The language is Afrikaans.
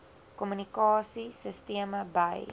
kommunikasie sisteme by